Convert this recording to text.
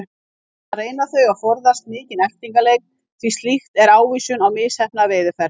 Þannig reyna þau að forðast mikinn eltingaleik því slíkt er ávísun á misheppnaða veiðiferð.